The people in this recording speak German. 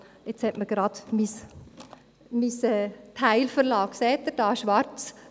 Jetzt hat mich gerade mein «Teil» im Stich gelassen, sehen Sie dies?